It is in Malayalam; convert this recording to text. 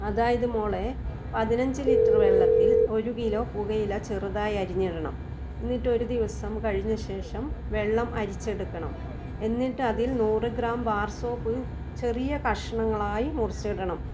അതായത് മോളെ പതിനഞ്ചു് ലിറ്റർ വെള്ളത്തിൽ ഒരു കിലോ പുകയില ചെറുതായി അരിഞ്ഞ് ഇടണം എന്നിട്ട് ഒരു ദിവസം കഴിഞ്ഞ ശേഷം വെള്ളം അരിച്ചെടുക്കണം എന്നിട്ട് അതിൽ നൂറ് ഗ്രാം വാർ സോപ്പ് ചെറിയ കഷണങ്ങളായി മുറിച്ചു ഇടണം